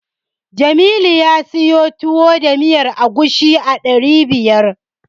Jamilu ya siyo Tuwo da miyar agushi a ɗari biyar.